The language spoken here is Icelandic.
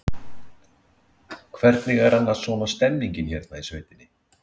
Lóa: Hvernig er annars svona stemningin hérna í sveitinni?